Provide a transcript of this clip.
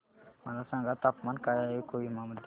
मला सांगा तापमान काय आहे कोहिमा मध्ये